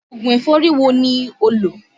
Ògùn ẹ̀fọ́rí wo ni ó lọ́?